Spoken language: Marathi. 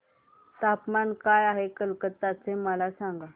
तापमान काय आहे कलकत्ता चे मला सांगा